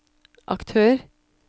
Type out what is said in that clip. aktør